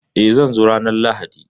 Eh, zan zo ranar Lahadi